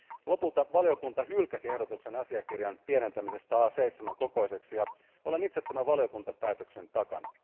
Lopulta valiokunta hylkäsi ehdotuksen asiakirjan pienentämisestä A7 kokoiseksi, ja olen itse tämän valiokuntapäätöksen takana.